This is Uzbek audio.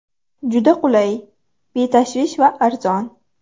Juda qulay, betashvish va arzon.